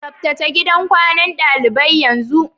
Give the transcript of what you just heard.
Tsabtace gidan kwanan dalibai yanzu!